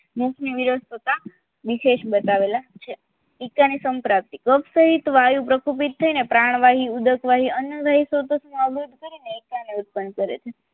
મુખની વિરુસ્તીતા વિશેષ બતાવેલા છે એકાની સંપ્રાપ્તિ ડોક્ટરીત વાયુ પ્રકુપિત થઈને પ્રાણ વાયુ ઉદક વાયુ અન્ય સ્ત્રોતોની આવૃત કરીને એકાની ઉત્પન્ન કરે છે